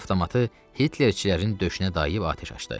Avtomatı Hitlerçilərin döşünə dayayıb atəş açdı.